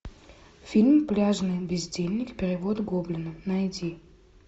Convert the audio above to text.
фильм пляжный бездельник перевод гоблина найди